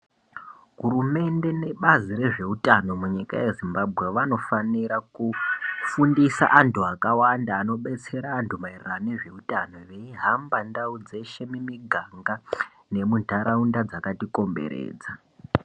Hurumende nebazi rezveutano munyika yeZimbambwe vanofanira kufundisa antu akawanda veibetera antu maereno nezveutano. Veihambe ndau dzeshe mumiganga nemuntaraunda dzakatikomberedza.